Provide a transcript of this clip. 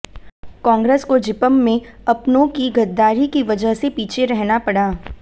कांग्रेस को जिपं में अपनों की गद्दारी की वजह से पीछे रहना पड़ा